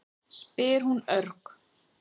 spyr hún örg.